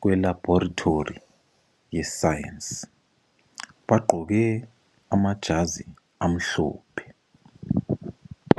kwe labhorithori yeScience bagqoke amajazi amhlophe